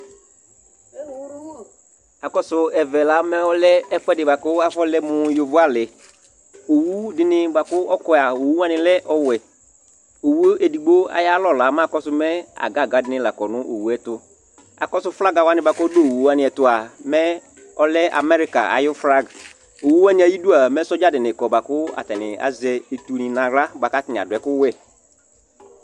Akɔsʋ ɛvɛ la mɛ ɔlɛ ɛfʋɛdɩ bʋa kʋ afɔlɛ mʋ yovoalɩ Owu dɩnɩ bʋa kʋ ɔkɔ yɛ a, owu wanɩ lɛ ɔwɛ Owu edigbo ayalɔ la, akɔsʋ mɛ aga aga dɩnɩ la kɔ nʋ owu yɛ tʋ, akɔsʋ flaga wanɩ bʋa kʋ ɔdʋ owu wanɩ ɛtʋ mɛ ɔlɛ amɛrika ayʋ flag Owu wanɩ ayidu a, mɛ sɔdza dɩnɩ kɔ bʋa kʋ atanɩ azɛ etunɩ nʋ aɣla bʋa kʋ atanɩ adʋ ɛkʋwɛ